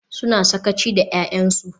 Suna sakaci da 'ya'yansu.